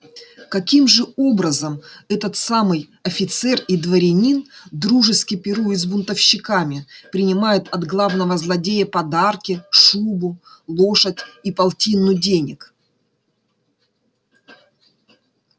каким образом этот самый офицер и дворянин дружески пирует с бунтовщиками принимают от главного злодея подарки шубу лошадь и полтину денег